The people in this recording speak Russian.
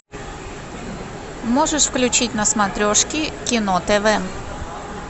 можешь включить на смотрешке кино тв